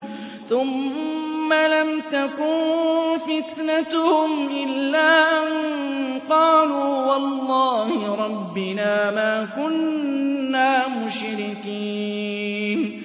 ثُمَّ لَمْ تَكُن فِتْنَتُهُمْ إِلَّا أَن قَالُوا وَاللَّهِ رَبِّنَا مَا كُنَّا مُشْرِكِينَ